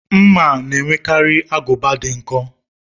Mma na-enwekarị agụba dị nkọ